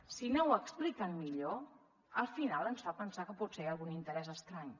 si no ho expliquen millor al final ens fan pensar que potser hi ha algun interès estrany